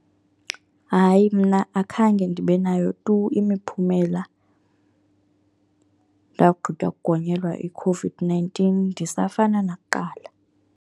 Hayi, mna akhange ndibe nayo tu imiphumela ndakugqitywa kugonyelwa iCOVID-nineteen. Ndisafana nakuqala.